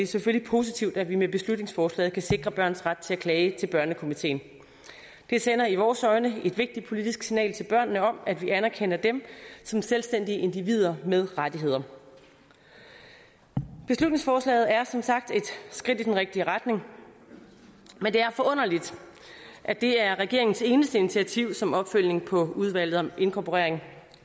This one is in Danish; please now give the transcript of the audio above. selvfølgelig positivt at vi med beslutningsforslaget kan sikre børns ret til at klage til børnekomiteen det sender i vores øjne et vigtigt politisk signal til børnene om at vi anerkender dem som selvstændige individer med rettigheder beslutningsforslaget er som sagt et skridt i den rigtige retning men det er forunderligt at det er regeringens eneste initiativ som opfølgning på udvalget om inkorporering